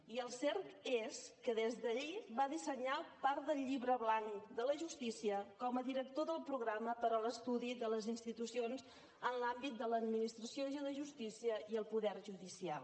i el cert és que des d’allí va dissenyar part del llibre blanc de la justícia com a director del programa per a l’estudi de les institucions en l’àmbit de l’administració de justícia i el poder judicial